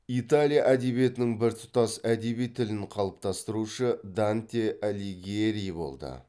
италия әдебиетінің біртұтас әдеби тілін қалыптастырушы данте алигьери болды